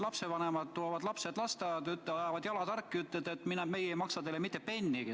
Lapsevanemad toovad lapsed lasteaeda, ajavad jalad harki ja ütlevad, et meie ei maksa teile mitte pennigi.